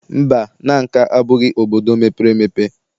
Mba, Nanka abụghị obodo mepere emepe.